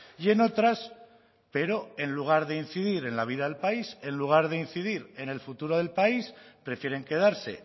y en otras pero en lugar de incidir en la vida del país en lugar de incidir en el futuro del país prefieren quedarse